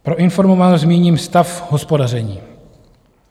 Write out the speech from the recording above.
Pro informovanost zmíním stav hospodaření.